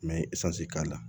N bɛ k'a la